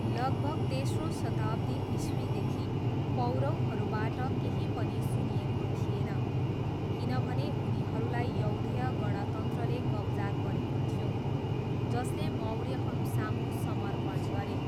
लगभग तेस्रो शताब्दी इस्वीदेखि पौरवहरूबाट केही पनि सुनिएको थिएन, किनभने उनीहरूलाई यौधेय गणतन्त्रले कब्जा गरेको थियो, जसले मौर्यहरूसामु समर्पण गरे।